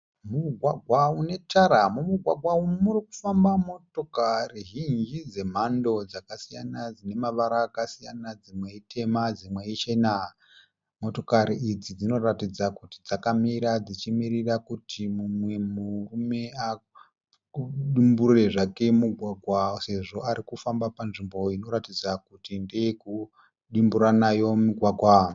Mugwagwa une tara, mumugwagwa umu murikufamba motokari zhinji dzemhando dzakasiyana dzine mavara akasiyana dzimwe itema dzimwe ichena. Motokari idzi dzinoratidza kuti dzakamira dzichi mirira kuti mumwe murume adimburire zvake mugwagwa sezvo arikufamba panzvimbo inoratidza kuti ndeye kudimbura nayo mugwagwa.